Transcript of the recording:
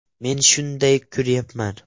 Men shunday ko‘ryapman.